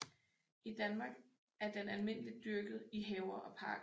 I Danmark er den almindeligt dyrket i haver og parker